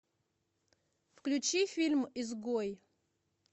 включи фильм изгой